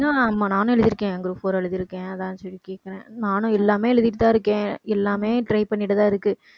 நானும் எழுதி இருக்கேன் group four எழுதியிருக்கேன் அதான் நானும் எல்லாமே எழுதிட்டு தான் இருக்கேன். எல்லாமே try பண்ணிட்டு தான் இருக்கு.